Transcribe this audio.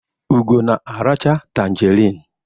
Ugo na-aracha tanjerịn.